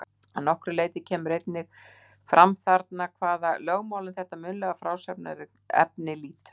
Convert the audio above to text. Að nokkru leyti kemur einnig fram þarna hvaða lögmálum þetta munnlega frásagnarefni lýtur.